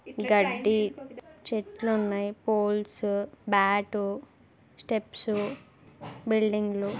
గడ్డి చెట్లు ఉన్నాయ్ పోల్స్ బ్యాట్ స్టెప్స్ బిల్డింగ్లు .